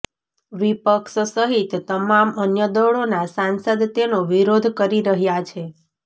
વિપક્ષ સહિત તમામ અન્ય દળોના સાંસદ તેનો વિરોધ કરી રહ્યા છે